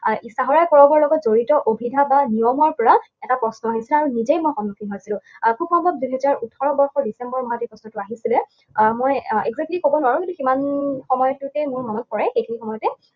চাহৰাই পৰৱৰ লগত জড়িত অভিধা বা নিয়মৰ পৰা এটা প্ৰশ্ন আহিছিলে আৰু নিজেই মই সন্মুখীন হৈছিলো। আৰু খুব সম্ভৱ দুহেজাৰ ওঠৰ বৰ্ষৰ ডিচেম্বৰ মাহত এই প্ৰশ্নটো আহিছিলে, আৰু মই আহ exactly কব নোৱাৰো কিন্তু সিমান সময়টোতে মোৰ মনত পৰে। সেইখিনি সময়তে